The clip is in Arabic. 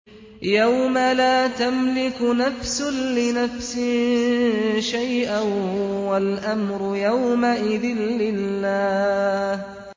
يَوْمَ لَا تَمْلِكُ نَفْسٌ لِّنَفْسٍ شَيْئًا ۖ وَالْأَمْرُ يَوْمَئِذٍ لِّلَّهِ